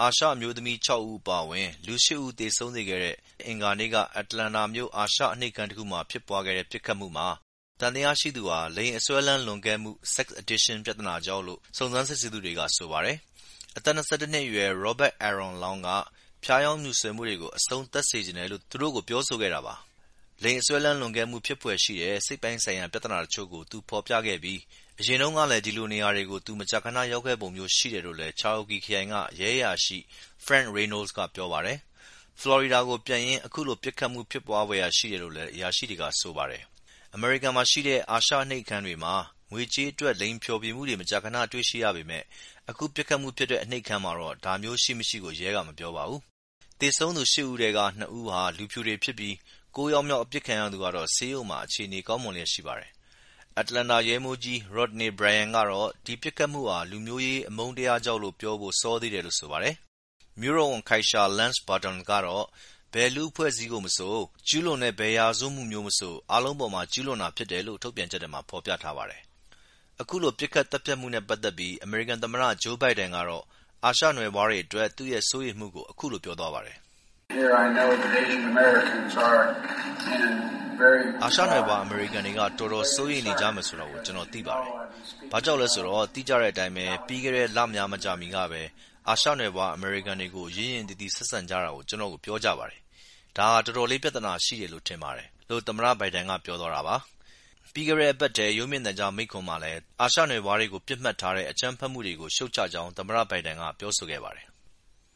အာရှ အမျိူးသမီး ၆ ဦးအပါအဝင် လူ ၈ ဦးသေဆုံးစေခဲ့တဲ့ ပြီးခဲ့တဲ့ အင်္ဂါနေ့က Atlanta မြို့ အာရှ အနှိပ်ခန်းတခုဖြစ်ပွားခဲ့တဲ့ ပစ်ခတ်မှုမှာ သံသယရှိသူဟာ လိင်အစွဲအလမ်း လွန်ကဲမှု sex addiction ပြဿနာကြောင့်လို့စုံစမ်းစစ်ဆေးသူတွေက ဆိုပါတယ်။ အသက် ၂၁ အရွယ် Robert Aaron Long က ဖြားယောင်းမြူဆွယ်မှုတွေကို အဆုံးသတ်စေချင်တယ်လို့ သူတို့ကို ပြောခဲ့ပါတယ်။ လိင်ပိုင်းစွဲလမ်းမှု ဖြစ်ဖွယ်ရှိတဲ့ စိတ်ပိုင်းဆိုင်ရာ ပြဿနာတချို့ကို သူဖော်ပြခဲ့ပြီး အရင်တုန်းကလည်း ဒီလိုနေရာတွေကို သူ ခဏခဏ ရောက်ခဲ့တဲ့ ပုံမျိူးရှိတယ် လို့လည်း Cherokee ခရိုင်က ရဲ အရာရှိ Frank Reynolds ကပြောပါတယ်။ ဖလော်ရီဒါကို ပြန်ရင်း အခုလို ပစ်ခတ်မှု ဖြစ်သွားဖွယ်ရှိတယ်လို့လည်း ရဲအရာရှိတွေက ဆိုပါတယ်။ အမေရိကန်မှာရှိတဲ့ အာရှအနှိပ်ခန်းတွေမှာ ငွေကြေးအတွက် လိင်ဖျော်ဖြေမှုတွေ မကြာခဏတွေ့ရှိရပေမယ့် အခု ပစ်ခတ်မှုဖြစ်တဲ့ အနှိပ်ခန်းမှာတော့ ဒါမျိူး ရှိ-မရှိရဲက မပြောပါဘူူး။ သေဆုံးသူ ၈ ဦးထဲက ၂ ဦးဟာ လူဖြူတွေဖြစ်ပြီး ကိုးယောက်မြောက်အပစ်ခံရသူကတော့ ဆေးရုံမှာ အခြေအနေ ကောင်းမွန်လျက်ရှိပါတယ်။ Atlanta ရဲမှူးကြီး Rodney Bryant ကတော့ ဒီပစ်ခတ်မှုဟာ လူမျိူးရေး အမုန်းတရားကြောင့် လို့ပြောဖို့စောသေးတယ်လို့ဆိုပါတယ်။ မြို့တော်ဝန် Keisha Lance Bottoms ကတော့ ဘယ်လူ့အဖွဲ့အစည်းကိုမဆို ကျူးလွန်တဲ့ ဘယ်ရာဇဝတ်မှုမဆို အားလုံးအပေါ်မှာ ကျူးလွန်တာဖြစ်တယ်လို့ ထုတ်ပြန်ချက်ထဲမှာ ဖော်ပြထားပါတယ်။ အခုလို ပစ်ခတ်သတ်ဖြတ်မှုနဲ့ပက်သက်ပြီး အမေရိကန်သမ္မတ ဂျိူးဘိုင်ဒန်ကတော့ အာရှနွယ်ဖွားတွေအတွက် သူ့ရဲ့ စိုးရိမ်မှုကို အခုလိုပြောသွားပါတယ်။ “ အာရှနွယ်ဖွားအမေရိကန်တွေ တော်တော့်ကို စိုးရိမ်နေကြမယ်ဆိုတာကို ကျနော်သိပါတယ်။ ဘာကြောင့်လည်းဆိုတော့ သိကြတဲ့အတိုင်းပဲ ပြီးခဲ့တဲ့လများမကြာမီကပဲ အာရှနွယ်ဖွား အမေရိကန်တွေကို ရင့်ရင့်သီးသီးဆက်ဆံကြတယ်လို့ ကျနော့်ကို ပြောကြပါတယ်။ ဒါဟာ တော်တော်လေး ပြဿနာ ရှိတယ်လို့ထင်ပါတယ်” လို့သမ္မတ ဘိုင်ဒန်က ပြောသွားတာပါ။ ပြီးခဲ့တဲ့အပတ်ထဲ ရုပ်မြင်သံကြားမိန့်ခွန်းထဲမှာလည်း အာရှနွယ်ဖွားတွေကို ပစ်မှတ်ထားတဲ့ အကြမ်းဖက်မှုတွေကို ရှုတ်ချကြောင်း သမ္မတ ဘိုင်ဒန်က ပြောဆိုခဲ့ပါတယ်။